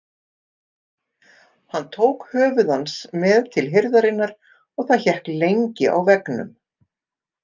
Hann tók höfuð hans með til hirðarinnar og það hékk lengi á veggnum.